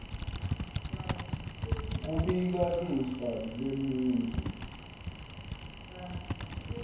kubika lifa lemuntfu